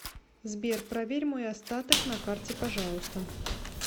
сбер проверь мой остаток на карте пожалуйста